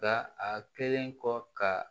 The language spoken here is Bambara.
Nka a kɛlen kɔ ka